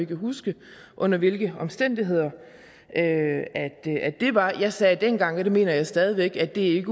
kan huske under hvilke omstændigheder det var jeg sagde dengang og det mener jeg stadig væk at det